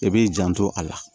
I b'i janto a la